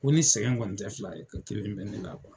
Ko ni sɛgɛn kɔni te fila ye, ko kelen bɛ ne la.